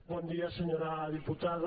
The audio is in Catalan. bon dia senyora diputada